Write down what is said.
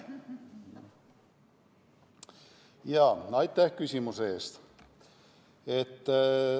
Aitäh küsimuse eest!